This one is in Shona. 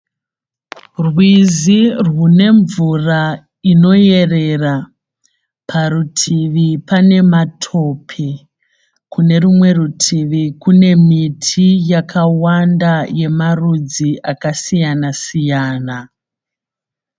Rwizi rwune mvura inoyerera. Parutivi kune matope. Kune rumwe rutivi kune miti yakawanda yemarudzi akasiyana siyana.